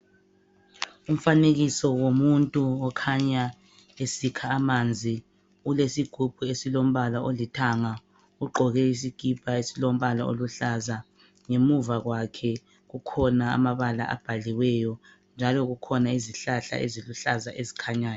Umfanekiso womuntu okhanya esikha amanzi ulesigubhu esilombala olithanga ugqoke isikipha esilombala esiluhlaza ngemuva kwakhe kukhona amabala abhaliweyo njalo kukhona izihlahla eziluhlaza ezikhanyayo.